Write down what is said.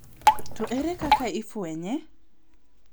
To ere kaka ifwenye?